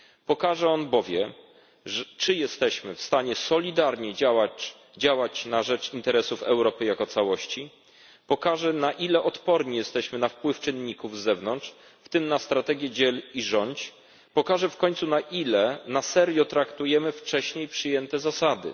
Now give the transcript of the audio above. Pokaże on bowiem, czy jesteśmy w stanie solidarnie działać na rzecz interesów Europy jako całości, pokaże na ile odporni jesteśmy na wpływ czynników z zewnątrz, w tym na strategię dziel i rządź, pokaże w końcu na ile na serio traktujemy wcześniej przyjęte zasady.